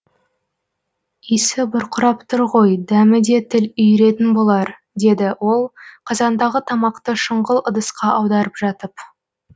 исі бұрқырап тұр ғой дәмі де тіл үйіретін болар деді ол қазандағы тамақты шұңғыл ыдысқа аударып жатып